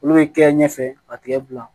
Olu bɛ kɛ ɲɛfɛ ka tigɛ bila